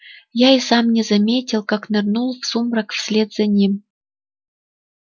я и сам не заметил как нырнул в сумрак вслед за ним